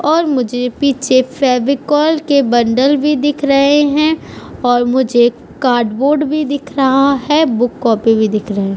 और मुझे पीछे से फेविकोल के बंडल भी दिख रहे है और मुझे कार्ड बोर्ड भी दिख रहा है और बुक कॉपी भी दिख रहे --